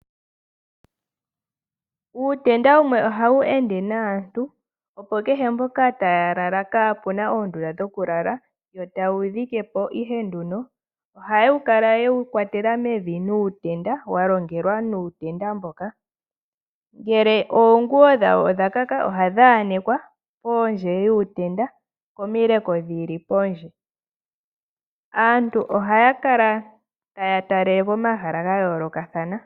Uutenda wumwe ohawu ende naantu opo kehe mpoka taya lala kapena oondunda dhoku lala yo taye wu dhikepo ihe nduno . Ohaya kala yewu kwatela mevi nuutenda walongelwa muutenda mboka . Ngele oonguwo dhawo odha kaka ohadhi anekwa pondje yuutenda pomileko dhili pondje. Aantu ohaya kala taya talelepo pomahala ga yoolokathana.